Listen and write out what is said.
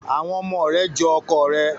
Àwọn ọmọ re jo ọkọ rẹ